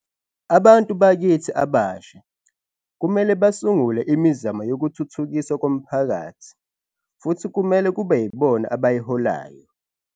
Abantu bakithi abasha kumele basungule imizamo yokuthuthukiswa komphakathi futhi kumele kube yibona abayiholayo.